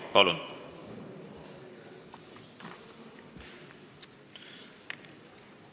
Palun!